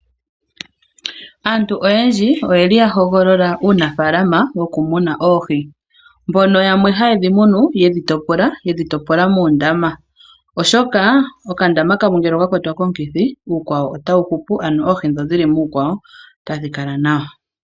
Aantu oyendji oyeli ya hogolola uunafaalama wokumuna oohi mbono yamwe haye dhi munu ye dhi topola moondama, oshoka okandama kamwe ngele oka kwatwa komukithi uukwawo otawu hupu, ano oohi ndho dhili muukwawo otadhi kala nawa.